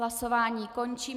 Hlasování končím.